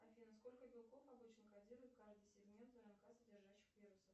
афина сколько белков обычно кодирует каждый сегмент рнк содержащих вирусов